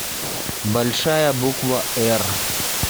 большая буква р